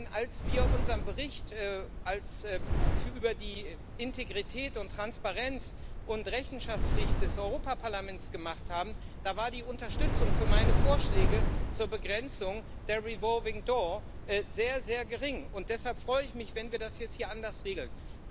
Denn als wir unseren Bericht über die Integrität, Transparenz und Rechenschaftspflicht des Europäischen Parlaments gemacht haben, da war die Unterstützung für meine Vorschläge zur Begrenzung der revolving door sehr, sehr gering. Deshalb freue ich mich, wenn wir das jetzt hier anders regeln.